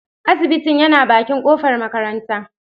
Asibitin yana bakin kofar makaranta.